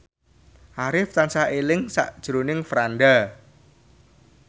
Arif tansah eling sakjroning Franda